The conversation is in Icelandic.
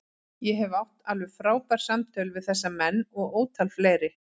Ég hef átt alveg frábær samtöl við þessa menn og ótal fleiri.